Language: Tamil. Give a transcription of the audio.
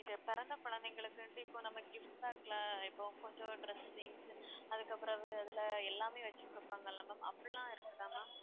இது பிறந்த குழந்தைங்களுக்குன்ட்டு இப்போ நம்ம gift pack ல இப்போ கொஞ்சம் dressings அதுக்கு அப்புறம் அது அதிலே எல்லாமே வச்சு குடுப்பாங்கல்ல ma'am அப்படிலாம் இருக்குதா ma'am